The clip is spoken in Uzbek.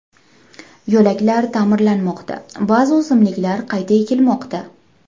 Yo‘laklar ta’mirlanmoqda, ba’zi o‘simliklar qayta ekilmoqda.